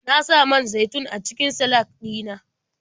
Na sa man zaitun a cikin salak ɗina.